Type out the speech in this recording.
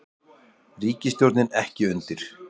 Ríkisstjórnin ekki undir